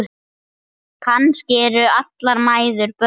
Kannski eru allar mæður börn.